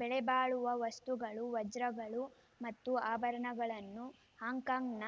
ಬೆಲೆಬಾಳುವ ವಸ್ತುಗಳು ವಜ್ರಗಳು ಮತ್ತು ಆಭರಣಗಳನ್ನು ಹಾಂಕಾಂಗ್‌ನ